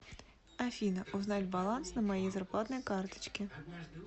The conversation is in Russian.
афина узнать баланс на моей зарплатной карточке